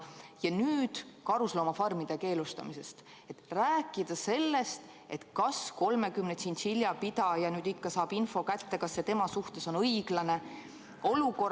Ja nüüd karusloomafarmide keelustamise puhul rääkida sellest, kas 30 tšintšilja pidaja ikka saab info kätte, kas see tema suhtes on õiglane ...